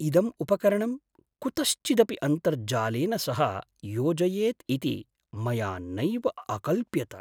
इदम् उपकरणं कुतश्चिदपि अन्तर्जालेन सह योजयेत् इति मया नैव अकल्प्यत।